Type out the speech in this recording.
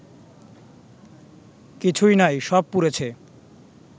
কিছুই নাই সব পুড়েছে